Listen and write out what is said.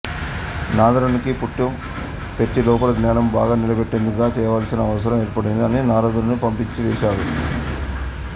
నారదునికి పుట్టం పెట్టి లోపల జ్ఞానము బాగా నిలబడేటట్లుగా చేయవలసిన అవసరం ఏర్పడింది అని నారదుని పంపించివేశాడు